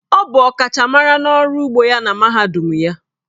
Ọ bụ ọkachamara n'ọrụ ugbo ya na mahadum ya.